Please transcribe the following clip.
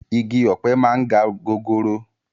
Igi ọ̀pẹ máa ń ga gogoro